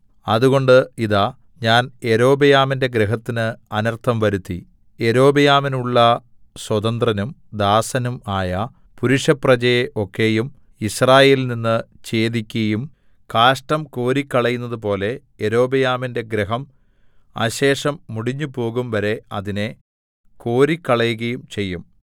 അതുകൊണ്ട് ഇതാ ഞാൻ യൊരോബെയാമിന്റെ ഗൃഹത്തിന് അനർത്ഥം വരുത്തി യൊരോബെയാമിനുള്ള സ്വതന്ത്രനും ദാസനും ആയ പുരുഷപ്രജയെ ഒക്കെയും യിസ്രായേലിൽനിന്ന് ഛേദിക്കയും കാഷ്ഠം കോരിക്കളയുന്നതു പോലെ യൊരോബെയാമിന്റെ ഗൃഹം അശേഷം മുടിഞ്ഞുപോകും വരെ അതിനെ കോരിക്കളകയും ചെയ്യും